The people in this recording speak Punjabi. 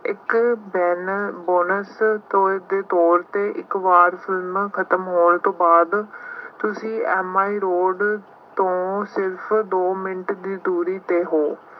ਇੱਕ ਬੈਨਰ ਬੋਨਸ ਦੇ ਤੌਰ ਤੇ ਇੱਕ ਵਾਰ ਫਿਲਮ ਖਤਮ ਹੋਣ ਤੋਂ ਬਾਅਦ ਤੁਸੀਂ ਐਮ ਆਈ ਰੋਡ ਤੋਂ ਸਿਰਫ ਦੋ ਮਿੰਟ ਦੀ ਦੂਰੀ ਤੇ ਹੋ।